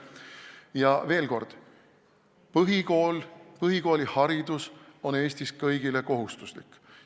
Ja veel kord: põhikool, põhikooliharidus on Eestis kõigile kohustuslik.